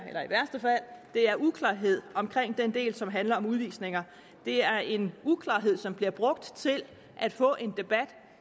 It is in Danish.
er uklarhed omkring den del som handler om udvisninger og det er en uklarhed som bliver brugt til at få en debat